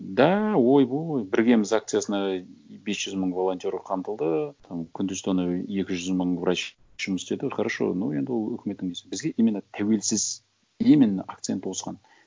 да ойбой біргеміз акциясына бес жүз мың волонтер қамтылды там күндіз түні екі жүз мың врач жұмыс істеді хорошо но енді ол үкіметтің несі бізге именно тәуелсіз именно акцент осыған